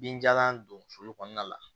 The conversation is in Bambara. Binjalan don sulu kɔnɔna la